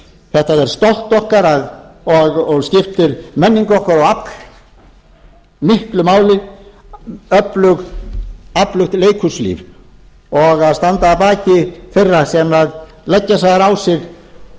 þetta er stolt okkar og skiptir menningu okkar og afl miklu máli öflugt leikhúslíf að standa að baki þeirra sem leggja þurfa á